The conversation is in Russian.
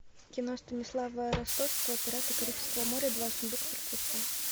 кино станислава ростоцкого пираты карибского моря два сундук мертвеца